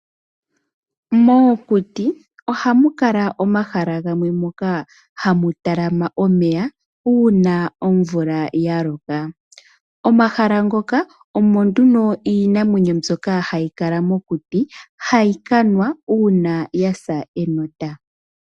Momakuti ohamu kala omahala gamwe moka hamu talama omeya uuna omvula yaloko. Omahala ngoka omo nduno iinamwenyo mbyoka hayi kala mokuti hayi kanwa uuna yasa enota.